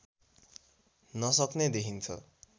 नसक्ने देखिन्छ